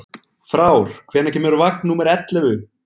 Frár, hvenær kemur vagn númer ellefu?